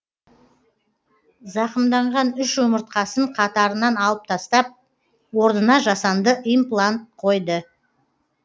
зақымданған үш омыртқасын қатырынан алып тастап орнына жасанды имплант қойды